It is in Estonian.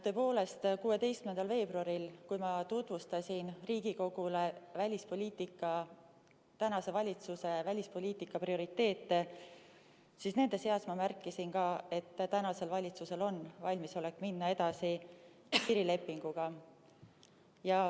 Tõepoolest, 16. veebruaril, kui ma tutvustasin Riigikogule tänase valitsuse välispoliitika prioriteete, siis nende seas ma märkisin ka, et tänasel valitsusel on valmisolek minna edasi piirilepinguga.